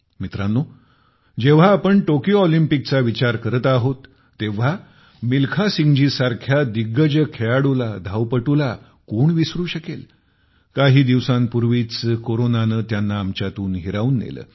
मित्रांनो जेव्हा टोक्यो ऑलिम्पिकचा विचार आपण करत आहोत तेव्हा मिल्खासिंगजीसारख्या दिग्गज खेळाडूला धावपटूला कोण विसरु शकेल काही दिवसांपूर्वीच कोरोनाने त्यांना आमच्यातून हिरावून नेले